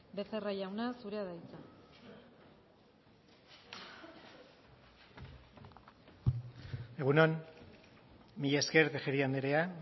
becerra jauna zurea da hitza egun on mila esker tejeria andrea